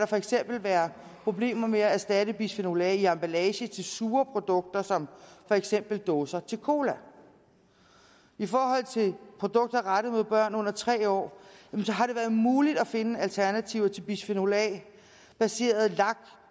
for eksempel være problemer med at erstatte bisfenol a i emballage til sure produkter som for eksempel dåser til cola i forhold til produkter rettet mod børn under tre år har det været muligt at finde alternativer til bisfenol a baseret lak